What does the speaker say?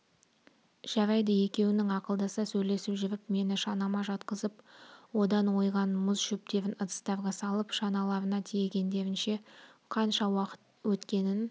жарайды екеуінің ақылдаса сөйлесіп жүріп мені шанама жатқызып одан ойған мұз шөптерін ыдыстарға салып шаналарына тиегендерінше қанша уақыт өткенін